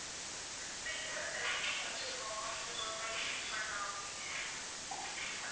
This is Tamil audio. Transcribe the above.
actual ஆ இதுதான் select பண்ணி வச்சிருக்கோம் இந்த birthday gift பண்ணலாம் அப்படின்னு